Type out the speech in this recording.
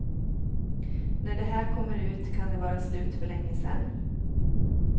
När det här kommer ut kan det vara slut för länge sedan.